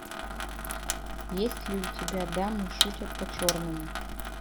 есть ли у тебя дамы шутят по черному